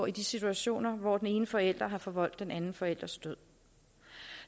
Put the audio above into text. i de situationer hvor den ene forælder har forvoldt den anden forælders død